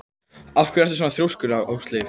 Af hverju ertu svona þrjóskur, Ásleif?